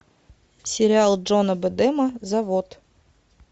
сериал джона бэдэма завод